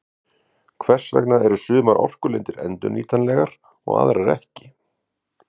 Hvers vegna er sumar orkulindir endurnýtanlegar og aðrar ekki?